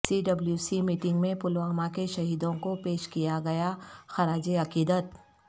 سی W C meeting میں پلوامہ کے شہیدوں کو پیش کیا گیا خراج عقیدت